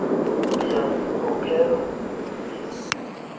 ndiya kukhokelwa ndize